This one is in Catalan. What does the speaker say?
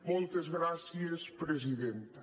moltes gràcies presidenta